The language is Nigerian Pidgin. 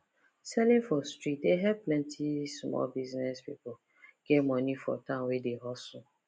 selling for street dey help plenty small business people get money for town wey dey hustle